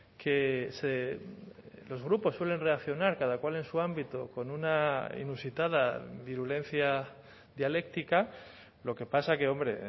que se los grupos suelen reaccionar cada cual en su ámbito con una inusitada virulencia dialéctica lo que pasa que hombre